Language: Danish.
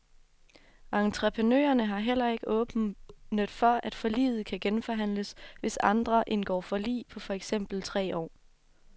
Entreprenørerne har heller ikke åbnet for, at forliget kan genforhandles, hvis andre indgår forlig på for eksempel tre år.